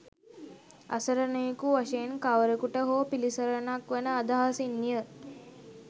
අසරණයකු වශයෙන් කවරකුට හෝ පිළිසරණක් වන අදහසින්ය.